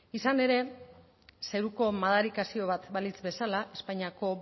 izan ere zeruko madarikazioa bat balitz bezala espainiako